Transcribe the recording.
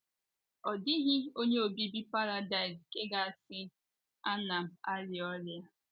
Ọ dịghị onye obibi Paradaịs nke ga - asị, “ Ana m arịa ọrịa. ”